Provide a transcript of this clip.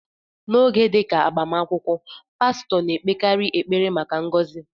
N'oge dị ka agbamakwụkwọ, pastọ na-ekpekarị ekpere maka ngọzị.